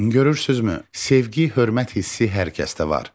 Görürsüzmü, sevgi, hörmət hissi hər kəsdə var.